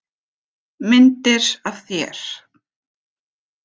Myndir af þér.